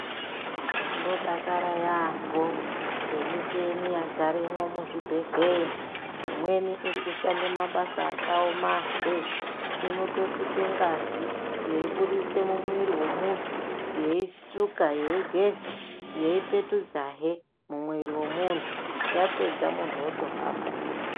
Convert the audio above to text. Tino dakara yambo nge mucheni yadzaremwo mu zvibhedhlera imweni iri kushanda mabasa aka oma wee inoto suka ngazi yeibudise mu mwiri we munhu yei suka yeigeza yeipetudza hee muviri we muntu yapedza muntu oto hamba.